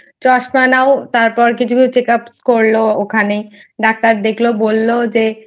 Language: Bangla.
চশমা নাও তারপর কিছু কিছু Check up করলো ওখানে Doctor দেখলো বললো যে